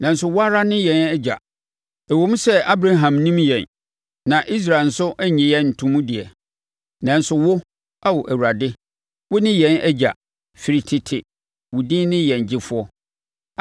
Nanso wo ara wo ne yɛn Agya ɛwom sɛ Abraham nnim yɛn na Israel nso nnye yɛn nto mu deɛ; nanso wo, Ao Awurade, wo ne yɛn Agya, ɛfiri tete wo din ne Yɛn Gyefoɔ.